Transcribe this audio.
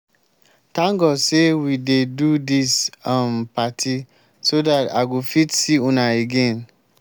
thank god say we dey do dis um party so dat i go fit see una again